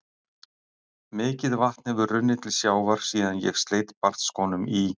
Mikið vatn hefur runnið til sjávar síðan ég sleit barnsskónum í